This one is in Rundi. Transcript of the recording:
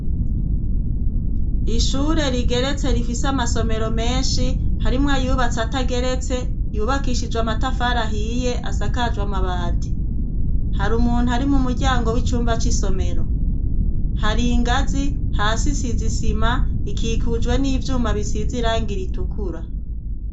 Ishure rigeretse rifise amasomero menshi. Harimwo ayubatse atageretse yubakishijwe amatafari ahiye, asakajwe amabati. Hari umuntu ari mu muryango w'icumba c'isomero. har'ingazi, hasi isize isima, ikikujwe n'ivyuma bisize irangi ritukura.